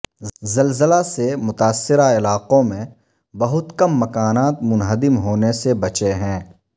زلزلہ سے متاثرہ علاقوں میں بہت کم مکانات منہدم ہونے سے بچے ہیں